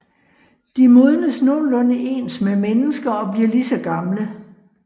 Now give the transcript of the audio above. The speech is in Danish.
De modnes nogenlunde ens med mennesker og bliver lige så gamle